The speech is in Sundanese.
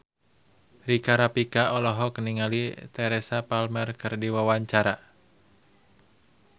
Rika Rafika olohok ningali Teresa Palmer keur diwawancara